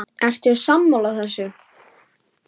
Ertu sammála þessu?